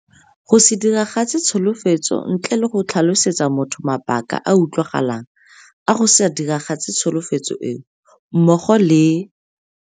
Go se diragatse tsholofetso ntle le go tlhalosetsa motho mabaka a a utlwagalang a go se diragatse tsholofetso eo, mmogo le.